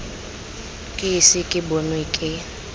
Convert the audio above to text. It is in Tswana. ke ise ke bonwe ke